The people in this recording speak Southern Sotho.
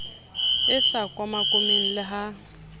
e sa komakomeng le ha